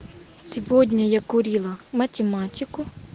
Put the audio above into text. сегодня я курила математику